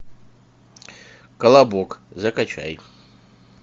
колобок закачай